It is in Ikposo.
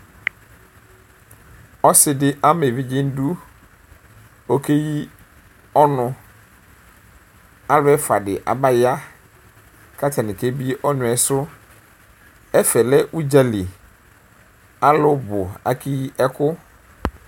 ɔsidi ama evidze nu iduɔkeyi ɔnualu ɛfua di abayaku atani ɔkebie ɔnu yɛ sʋɛfɛ lɛ udzali alubu akeyi ɛku